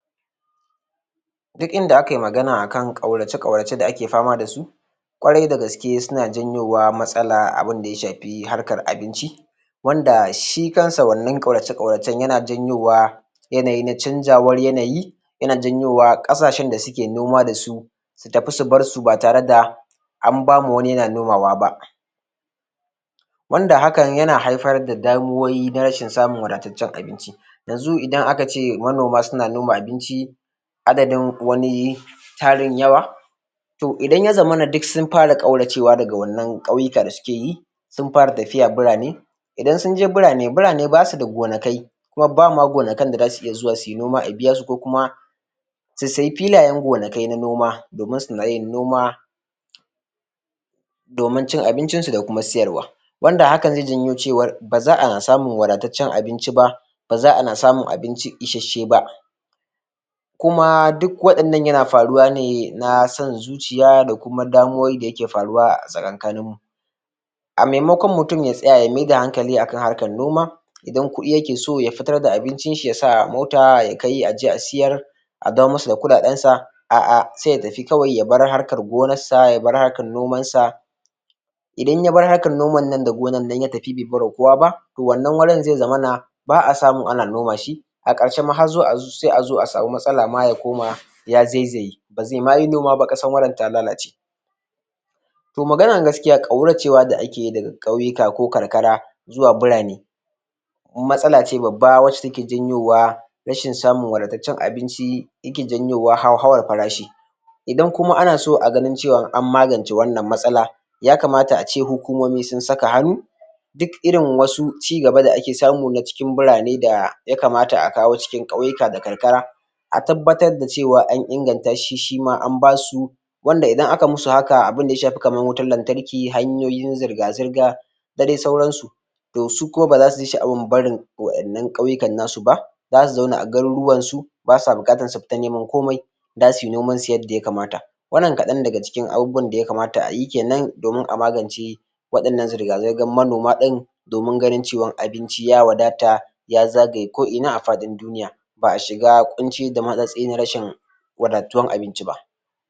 Duk inda aka yi magana akan ƙaurace ƙaurace da ake fama da su ƙwarai da gaske suna janyo matsala abunda ya shafi harkar abinci wanda shi kansa wannan ƙaurace ƙauracen yana janyowa yanayi na canjawar yanayi yana janyowa ƙasashen da suke noma da su su tafi su bar su ba tare da an bama wani yana nomawa ba wanda hakan yana haifar da damuwoyi na rashin samun wadataccen abinci yanzu idan aka ce manoma suna noma abinci adadin wani tarin yawa to idan ya zamana duk sun fara ƙauracewa daga wannan ƙauyuka da suke yi sun fara tafiya birane idan sun je birane birane basu da gonaki kuma ba ma gonakin da zasu iya zuwa suyi noma a biya su ko kuma su sayi filayen gonakin noma domin suna yin noma domin cin abinci su da kuma sayarwa wanda haka zai janyo cewar ba za a samu wadataccen abinci ba ba za ana samun abinci isasshe ba kuma duk waɗannan yana faruwa ne na son zuciya da kuma damuwoyi da yake faruwa a tsakankanin mu a maimakon mutum ya tsaya ya maida hankali a kan harkan noma idan kuɗi yake so ya fitar da abincin shi ya sa a mota ya kai aje a siyar a dawo masa da kuɗaɗen sa a'a sai ya tafi kawai ya bar harkan gonar sa aya bar harkan nomansa idan ya bar harkan noman nan da gonan nan ya tafi bai bar wa kowa ba to wannan wurin zai zamana ba a samu ana noma shi a ƙarshe ma har azo a samu matsala ma ya koma ya zaizaye ba zai ma yi noma ba ƙasa wajen ya lalace to maganan gaskiya ƙauracewa noma da ake yi daga ƙauyuka ko karkara zuwa birane matsala ce babba wacce taek janyowa rashin samun wadataccen abinci yake janyowa hauhawar farashi idan kuma ana so a ga cewa an magance wannan matsala ya kamata ace hukumomi sun saka hannu duk irin wasu cigaba da ake samu na cikin birane ya kamata a kawo a cikin ƙauyuka da karkara a tabbatar da cewa an inganta shi shima an basu wanda idan aka musu haka abunda ya shafi kaman wutan lantarki, hanyoyin zirga zirga da dai sauransu to su kuma ba za suyi sha'awan barin wannan ƙauyukan nasu ba zasu zauna a garuruwansu basa buƙatar su fita neman komai zasu yi noman su yadda ya kamata wannan kaɗan daga cikin abubuwan da ya kamata ayi kenan domin a magance waɗannan zirga zirgan manoma ɗin domin ganin cewa abinci ya wadata ya zagaya ko ina a faɗin duniya ba a shiga ƙunci da matsatsi na rashin wadatuwan abinci ba